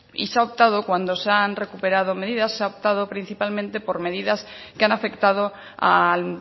y se ha optado cuando se han recuperado medidas se ha optado principalmente por medidas que han afectado al